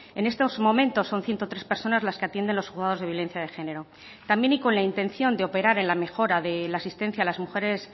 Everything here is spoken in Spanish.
en estos momentos son ciento tres personas las que atienden los juzgados de violencia de género también y con la intención de operar en la mejora de la asistencia a las mujeres